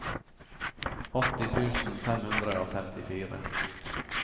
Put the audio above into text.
åtti tusen fem hundre og femtifire